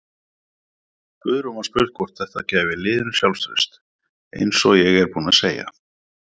Guðrún var spurð hvort þætta gæfi liðinu sjálfstraust: Eins og ég er búinn að segja.